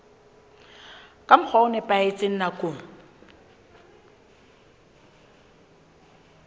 ka mokgwa o nepahetseng nakong